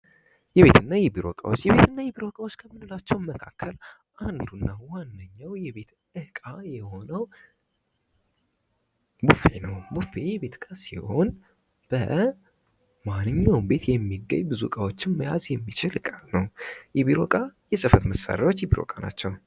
የቤት እና የቢሮ እቃዎች ከምንላቸው መካከል አንዱና ዋነኛው የቤት ዕቃ የሆነው ቡፌ ነው ። ቡፌ የቤት እቃ ሲሆን በ ማንኛውም ቤት የሚገኝ ብዙ ዕቃዎችን መያዝ የሚችል እቃ ነው። የቢሮ ዕቃ የጽህፈት መሳሪያዎች የቢሮ እቃ ናቸው።